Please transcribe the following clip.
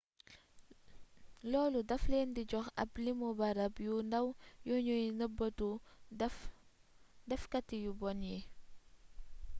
loolu daf leen di jox ab limu barab yu ndaw yuñuy nëbëtuwee dafkati yu bon yi